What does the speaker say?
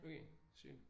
Okay. Sygt